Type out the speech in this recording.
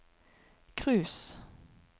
cruise